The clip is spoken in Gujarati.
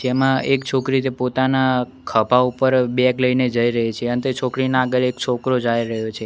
જેમા એક છોકરી પોતાના ખભા ઉપર બેગ લઇને જઇ રહી છે અને તે છોકરીના આગળ એક છોકરો જાઈ રહ્યો છે.